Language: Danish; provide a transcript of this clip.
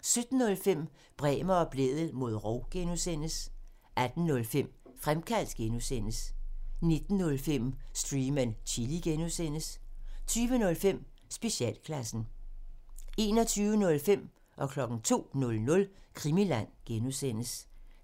17:05: Bremer og Blædel mod rov (G) 18:05: Fremkaldt (G) 19:05: Stream and Chill (G) 20:05: Specialklassen 21:05: Krimiland (G) 02:00: Krimiland (G)